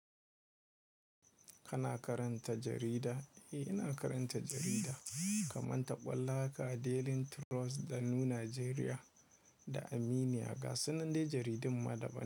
Kana karanta jarida? Eh, ina karanta jarida kamar ta ɓolla ka Daily Trust, Ɗanu Najeriya da Aminia ga sunan dai jaridun ma daban.